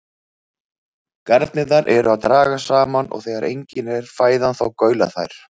Garnirnar eru að dragast saman og þegar engin er fæðan þá gaula þær.